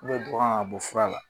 dɔ kan ka bɔ fura la.